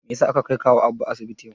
Mai yasa aka kai kawu Abba asibiti yau?